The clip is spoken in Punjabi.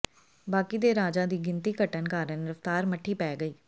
ਬਾਕੀ ਦੇ ਰਾਜਾਂ ਦੀ ਗਿਣਤੀ ਘਟਣ ਕਾਰਨ ਰਫ਼ਤਾਰ ਮੱਠੀ ਪੈ ਗਈ